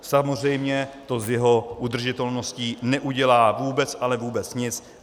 Samozřejmě to z jeho udržitelností neudělá vůbec, ale vůbec nic.